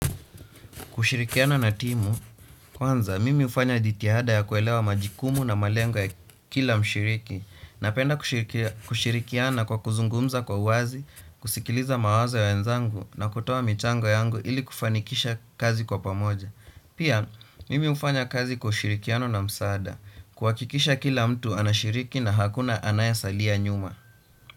Kushirikiana na timu, kwanza mimi hufanya jitihada ya kuelewa majukumu na malengo ya kila mshiriki, napenda kushirikiana kwa kuzungumza kwa wazi, kusikiliza mawazo ya wenzangu na kutoa mchango yangu ili kufanikisha kazi kwa pamoja. Pia, mimi hufanya kazi kwa ushirikiano na msaada, kuhakikisha kila mtu anashiriki na hakuna anayesalia nyuma.